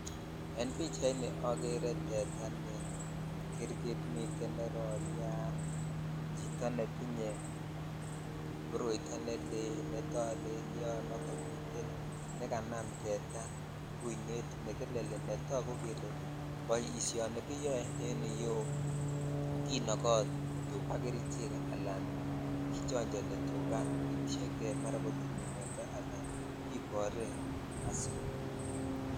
En pichaini oker teta ne girgtmit miten ne roryat chito netinyrme koroito ne lel netolelyon ak komi nekanam tetaa kuinet nekekeli ne togu kele boishoni kiyoe en yuu kinoko tukaa kerich ala kichonchoni kotien kei mara kotinye mionndo kikoree asi.